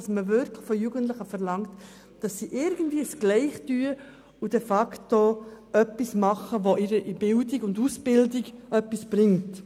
Wir möchten, dass man von den Jugendlichen verlangt, irgendwie ein Gleiches zu tun, indem sie etwas machen, das ihnen in der Bildung und Ausbildung etwas bringt.